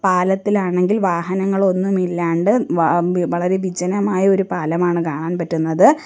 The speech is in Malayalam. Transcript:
പാലത്തിൽ ആണെങ്കിൽ വാഹനങ്ങൾ ഒന്നും ഇല്ലാണ്ട് വ ബി വളരെ വിജനമായ ഒരു പാലമാണ് കാണാൻ പറ്റുന്നത്.